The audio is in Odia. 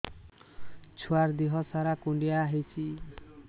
ଛୁଆର୍ ଦିହ ସାରା କୁଣ୍ଡିଆ ହେଇଚି